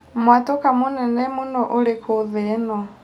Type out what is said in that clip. mwatũka mũnene mũno ũrikũ thĩ ĩno